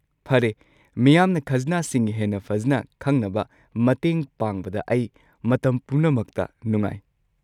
ꯐꯔꯦ, ꯃꯤꯌꯥꯝꯅ ꯈꯖꯅꯥꯁꯤꯡ ꯍꯦꯟꯅ ꯐꯖꯅ ꯈꯪꯅꯕ ꯃꯇꯦꯡ ꯄꯥꯡꯕꯗ ꯑꯩ ꯃꯇꯝ ꯄꯨꯝꯅꯃꯛꯇ ꯅꯨꯡꯉꯥꯏ꯫